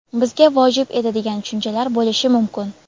bizga vojib edi degan tushunchalar bo‘lishi mumkin.